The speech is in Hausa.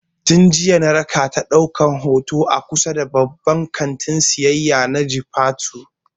Tin jiya na rakata ɗaukan hoto a kusa da babban kantin siyayya na jifatu